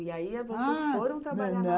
E aí vocês, ah... foram trabalhar...